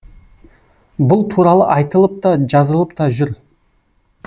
бұл туралы айтылып та жазылып та жүр